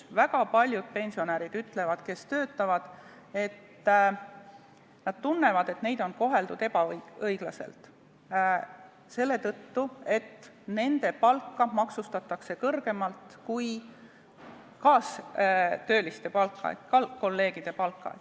Väga paljud pensionärid, kes töötavad, ütlevad, et nad tunnevad, et neid koheldakse ebaõiglaselt, sest nende palka maksustatakse kõrgemalt kui kaastööliste ehk kolleegide palka.